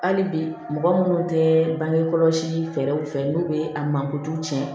Hali bi mɔgɔ minnu tɛ bange kɔlɔsi fɛɛrɛw fɛ n'u bɛ a mankutu tiɲɛ